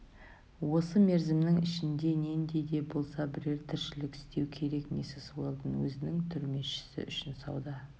осы мерзімнің ішінде нендей де болса бірер тіршілік істеу керек миссис уэлдон өзінің түрмешісі үшін сауда